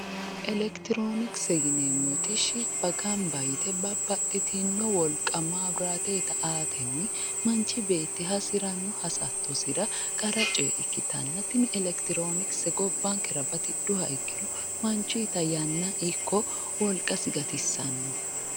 Elekiyiroonikise yineemmoti shibba gamba yite babba babbaxitinno wolqa maabiraateeta aatenni manchi beetti hasiranno hasattosira qara coyee ikkitanna tini lekitiroonikise gobbankera batidhuha ikkiro manchuyiita yanna ikko wolqasi gatissanno.